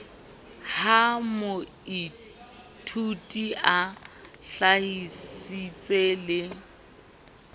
ha moithuti a hlahisitse le